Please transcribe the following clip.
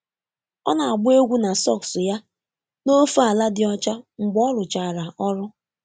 Ọ na-agba egwu na sọks ya n'ofe ala dị ọcha mgbe ọ rụchara ọrụ